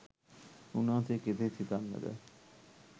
උන්වහන්සේ කෙසේ සිතන්නද?